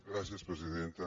gràcies presidenta